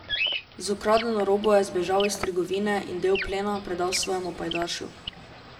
Z ukradeno robo je zbežal iz trgovine in del plena predal svojemu pajdašu.